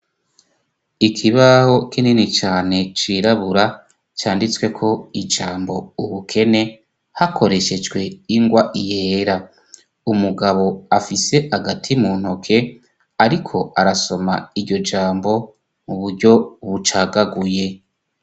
Ikibaho kinini cane cirabura canditsweko ijambo ubukene hakoreshejwe ingwa yera, umugabo afise agati mu ntoke ariko arasoma iryo jambo mu buryo bucagaguye.